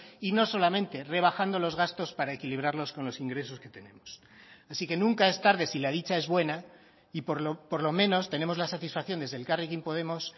y no solamente rebajando los gastos para equilibrarlos con los ingresos que tenemos así que nunca es tarde si la dicha es buena y por lo menos tenemos la satisfacción desde elkarrekin podemos